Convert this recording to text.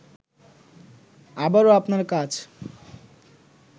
আবারও আপনার কাছ